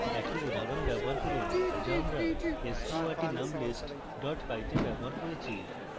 একই উদাহরণ ব্যবহার করুন যা আমরা sqrt _ num _ list py তে ব্যবহার করেছি